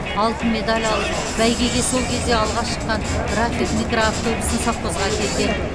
алтын медаль алып бәйгеге сол кезде алғаш шыққан рафик микроавтобусын совхозға әкелген